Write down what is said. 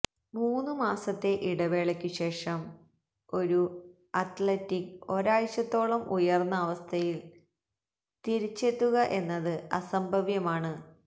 മൂന്നു മാസത്തെ ഇടവേളയ്ക്കു ശേഷം ഒരു അത്ലറ്റിന് ഒരാഴ്ചയോടത്തോളം ഉയർന്ന അവസ്ഥയിൽ തിരിച്ചെത്തുക എന്നത് അസംഭവ്യമാണ്